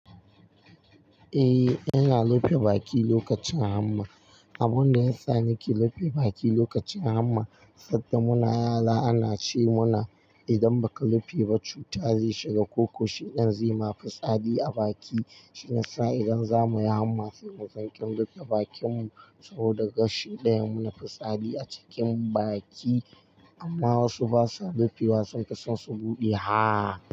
Eh, ana rufe baki lokacin hamma. Abun da ya sa nake rufe baki lokacin hamma, sanda muna yara ana ce mana idan baka rufe ba cuta zai shiga, ko ko shiɗan zai ma fi tsadi a baki. Shi nasa idan zamuyi hamma sai mu sanƙen rufe bakinmu saboda gashi ɗaya munafi tsadi a cikin baki. Amma wasu basa rufewa sunfi son su buɗe ha.